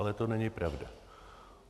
Ale to není pravda.